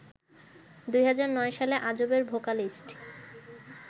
২০০৯ সালে আজবের ভোকালিস্ট